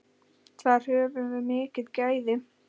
Þar höfum við mikil gæði.